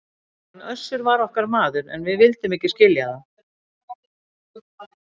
Hann Össur var okkar maður, en við vildum ekki skilja það!